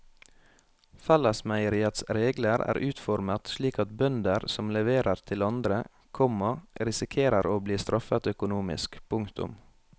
Fellesmeieriets regler er utformet slik at bønder som leverer til andre, komma risikerer å bli straffet økonomisk. punktum